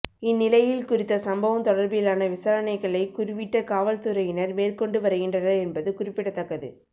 இந்நிலையில் குறித்த சம்பவம் தொடர்பிலான விசாரணைகளை குருவிட்ட காவல்துறையினர் மேற்கொண்டு வருகின்றனர் என்பது குறிப்பிடத்தக்கது